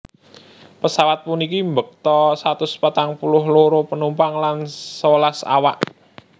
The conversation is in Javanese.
Pesawat puniki mbekta satus patang puluh loro panumpang lan sewelas awak